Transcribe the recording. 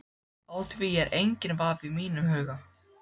Á því er enginn vafi í mínum huga.